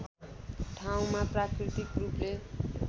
ठाउँमा प्राकृतिक रूपले